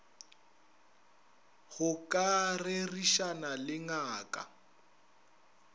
go ka rerišana le ngaka